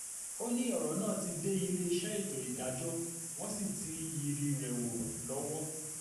ó ní ọ̀rọ̀ náà ti dé iléeṣẹ́ ètò ìdájọ́ wọ́n sì ti ń yiri rẹ̀ wò lọ́wọ́